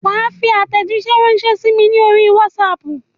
Wà á fi àtèjíṣẹ́ rànṣẹ́ sí mi ní orí Wásaapù